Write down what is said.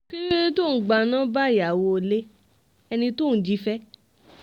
kí ló dé tó ò ń gba nọ́ńbà ìyàwó ilé ẹni tó ò ń jí fẹ́